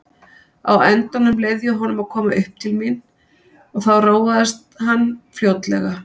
Á endanum leyfði ég honum að koma uppí til mín og þá róaðist hann fljótlega.